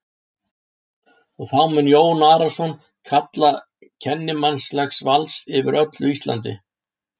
Og þá mun Jón Arason kalla til kennimannlegs valds yfir öllu Íslandi!